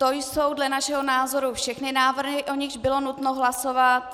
To jsou dle našeho názoru všechny návrhy, o nichž bylo nutno hlasovat.